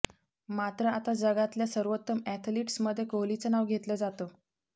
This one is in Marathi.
मात्र आता जगातल्या सर्वोत्तम अॅथलिट्समध्ये कोहलीचं नाव घेतलं जातं